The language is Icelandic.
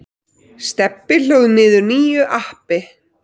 Stebbi hlóð niður nýju appi.